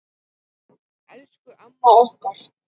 Elsku amma okkar.